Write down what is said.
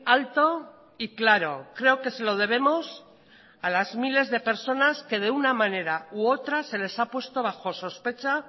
alto y claro creo que se lo debemos a las miles de personas que de una manera u otra se les ha puesto bajo sospecha